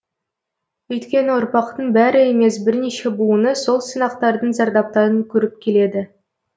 өйткені ұрпақтың бәрі емес бірнеше буыны сол сынақтардың зардаптарын көріп келеді